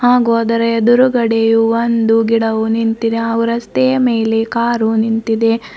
ಹಾಗು ಅದರ ಎದುರುಗಡೆ ಒಂದು ಗಿಡವು ನಿಂತಿದೆ ಹಾಗು ರಸ್ತೆಯ ಮೇಲೆ ಕಾರು ನಿಂತಿದೆ.